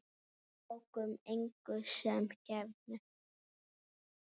Við tókum engu sem gefnu.